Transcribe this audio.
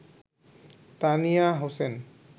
Tania Hossain